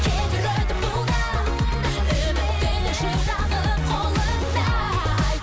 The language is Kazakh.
кетер өтіп бұл да үміттің шырағы қолыңда